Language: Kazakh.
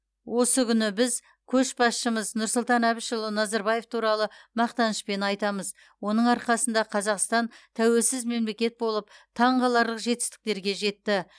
осы күні біз көшбасшымыз нұрсұлтан әбішұлы назарбаев туралы мақтанышпен айтамыз оның арқасында қазақстан тәуелсіз мемелекет болып таңқаларлық жетістіктерге жетті